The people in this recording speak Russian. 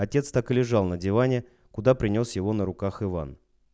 отец так и лежал на диване куда принёс его на руках иван